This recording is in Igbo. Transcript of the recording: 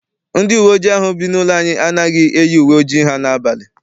Ndị uwe ojii ahụ bụ n'ụlọ anyị anaghị eyi uwe ojii ha n'abalị.